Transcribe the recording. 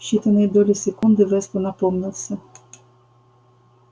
в считанные доли секунды вестон опомнился